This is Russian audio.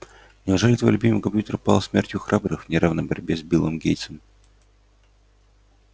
неужели твой любимый компьютер пал смертью храбрых в неравной борьбе с биллом гейтсом